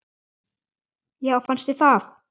Já fannst þér það?